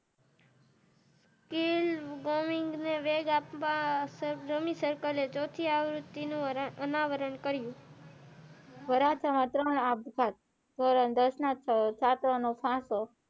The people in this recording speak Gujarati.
અનાવરણ કર્યુ વરાછા માં ત્રણ નો આપઘાત ધોરણ દસ ના છાત્ર નો ફાસો